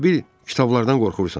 Elə bil kitablardan qorxursan.